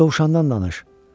Dovşandan danış.